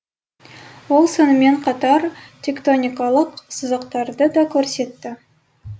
ол сонымен қатар тектоникалық сызықтарды да көрсетті